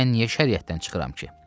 Mən niyə şəriətdən çıxıram ki?